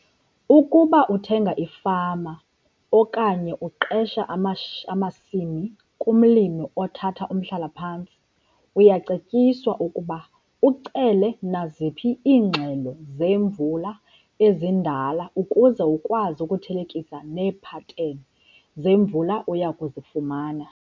Ukuba uthenga ifama okanye uqesha amasimi kumlimi othatha umhlala-phantsi uyacetyiswa ukuba ucele naziphi iingxelo zemvula ezindala ukuze ukwazi ukuthelekisa neepateni zemvula oya kuzifumana.